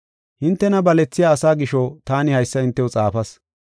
Hintena balethiya asaa gisho taani haysa hintew xaafas.